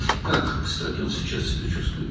Yeri gəlmişkən, o indi necə hiss edir özünü?